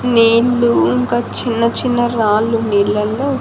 నీళ్లు ఇంకా చిన్న చిన్న రాళ్లు నీళ్లల్లో.